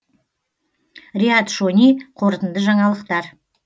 риат шони қорытынды жаңалықтар